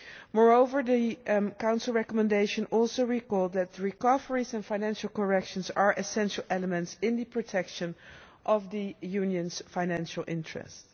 Moreover, the Council recommendation also recalled that recoveries and financial corrections are essential elements in the protection of the Union's financial interests.